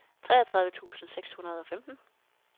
treogtredive tusind seks hundrede og femten